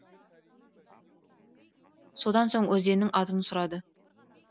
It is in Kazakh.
содан соң өзеннің атын сұрады